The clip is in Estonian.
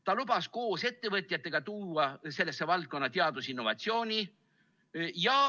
Ta lubas koos ettevõtjatega tuua sellesse valdkonda teadusinnovatsiooni.